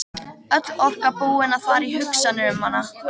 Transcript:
Öll orka búin að fara í hugsanir um hana.